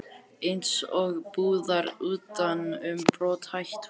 Eins og púðar utan um brothætt fólk.